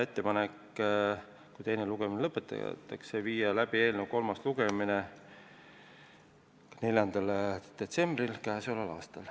Kui teine lugemine lõpetatakse, siis teeb komisjon ettepaneku viia eelnõu kolmas lugemine läbi 4. detsembril k.a. Aitäh!